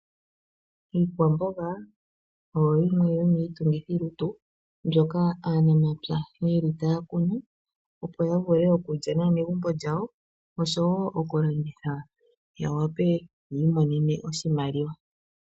Iikwamboga oyo yimwe yomiitungithi lutu mbyoka aanamapya yeli taya kunu opo ya vule okulya nawa megumbo lyawo. Oshowo oku landitha ya wape yi imonene oshimaliwa.